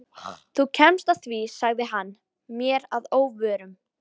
Þú kemst að því sagði hann mér að óvörum.